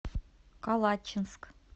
калачинск